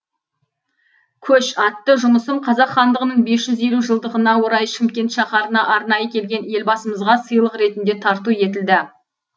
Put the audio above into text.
көш атты жұмысым қазақ хандығының бес жүз елу жылдығына орай шымкент шаһарына арнайы келген елбасымызға сыйлық ретінде тарту етілді